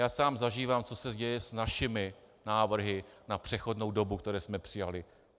Já sám zažívám, co se děje s našimi návrhy na přechodnou dobu, které jsme přijali.